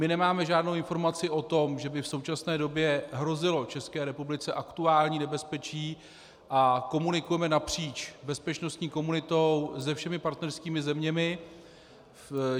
My nemáme žádnou informaci o tom, že by v současné době hrozilo České republice aktuální nebezpečí, a komunikujeme napříč bezpečnostní komunitou se všemi partnerskými zeměmi.